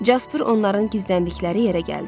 Casper onların gizləndikləri yerə gəldi.